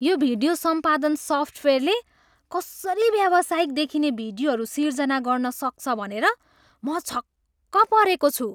यो भिडियो सम्पादन सफ्टवेयरले कसरी व्यावसायिक देखिने भिडियोहरू सिर्जना गर्न सक्छ भनेर म छक्क परेको छु।